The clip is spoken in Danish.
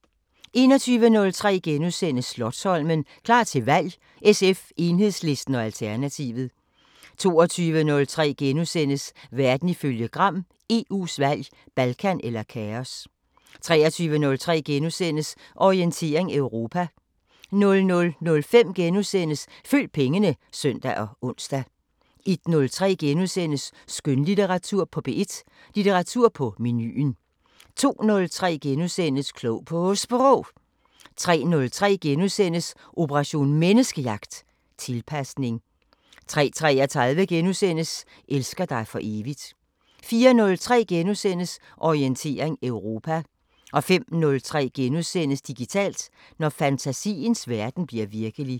21:03: Slotsholmen – klar til valg: SF, Enhedslisten og Alternativet * 22:03: Verden ifølge Gram: EU's valg – Balkan eller kaos! * 23:03: Orientering Europa * 00:05: Følg pengene *(søn og ons) 01:03: Skønlitteratur på P1: Litteratur på menuen * 02:03: Klog på Sprog * 03:03: Operation Menneskejagt: Tilpasning * 03:33: Elsker dig for evigt * 04:03: Orientering Europa * 05:03: Digitalt: Når fantasiens verden bliver virkelig *